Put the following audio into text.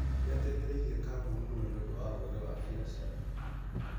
Nĩ ateithirie kambuni mũno nĩũndũ wa ũgĩ wa biacara.